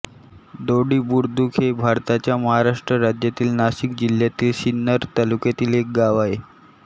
दोडी बुद्रुक हे भारताच्या महाराष्ट्र राज्यातील नाशिक जिल्ह्यातील सिन्नर तालुक्यातील एक गाव आहे